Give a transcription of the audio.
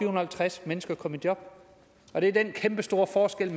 og halvtreds mennesker kom i job var det den kæmpestore forskel